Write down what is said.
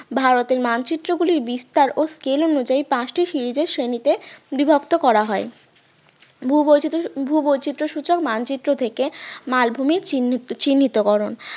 ভারতের মানচিত্র গুলির বিস্তার ও scale অনুযায়ী পাঁচটি series এর শ্রেণীতে বিভক্ত করা হয় ভূবৈচিত্র~ ভূবৈচিত্রসূচক মানচিত্র থেকে মালভূমির চিহ্নিত চিহ্নিতকরণ